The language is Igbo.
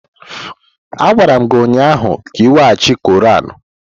Agwara m gi ụnyahụ ka iweghachi Quran!